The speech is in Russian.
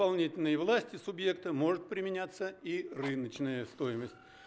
исполнительной власти субъекта может применяться и рыночная стоимость